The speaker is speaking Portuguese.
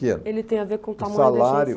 ele tem a ver com o tamanho... O salário